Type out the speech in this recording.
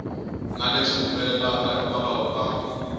na leswi humelelaka hikwalaho ka